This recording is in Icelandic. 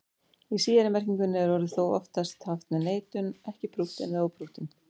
Í síðari merkingunni er orðið þó oftast haft með neitun, ekki prúttinn eða óprúttinn.